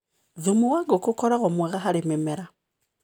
Thumu wa ngũkũ ũkoragwo mwega harĩ mĩmera.